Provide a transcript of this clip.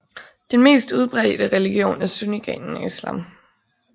Den mest udbredte religion er sunnigrenen af Islam